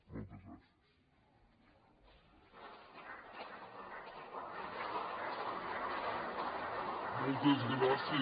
moltes gràcies